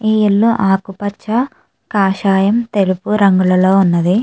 ఇది యెల్లో కాషాయం ఆకుపచ తెలుపు రంగు లో వున్నది.